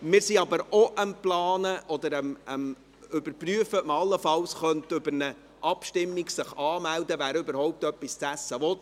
Wir sind aber auch am Planen oder am Überprüfen, ob man sich allenfalls über eine Abstimmung anmelden könnte, ob man überhaupt etwas zu essen will.